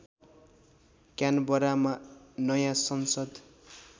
क्यानबरामा नयाँ संसद